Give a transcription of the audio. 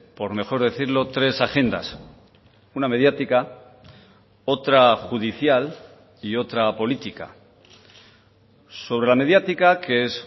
por mejor decirlo tres agendas una mediática otra judicial y otra política sobre la mediática que es